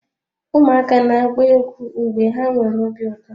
Ụmụaka na-agba egwu mgbe ha nwere obi ụtọ.